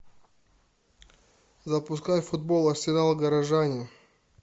запускай футбол арсенал горожане